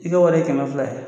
I ka wari ye kɛmɛ fila ye.